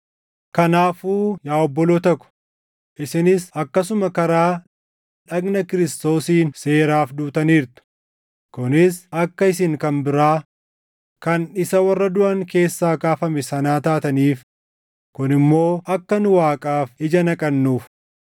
Kanaafuu yaa obboloota ko, isinis akkasuma karaa dhagna Kiristoosiin seeraaf duutaniirtu; kunis akka isin kan biraa, kan isa warra duʼan keessaa kaafame sanaa taataniif; kun immoo akka nu Waaqaaf ija naqannuuf.